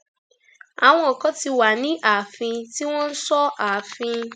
àwọn kan ti wà ní ààfin tí wọn ń sọ ààfin